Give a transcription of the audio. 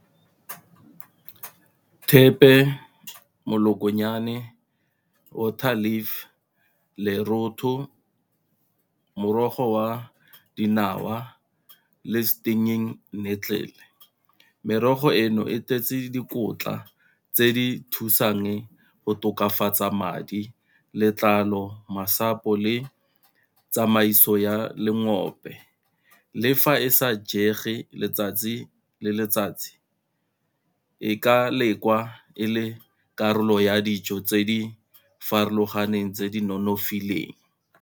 Thepe, molokonyane, water leaf, lerotho, morogo wa dinawa le . Merogo eno e tletse dikotla tse di thusang go tokafatsa madi, letlalo, masapo le tsamaiso ya lengwope. Le fa e sa jege letsatsi le letsatsi e ka lekwa e le karolo ya dijo tse di farologaneng tse di nonofileng.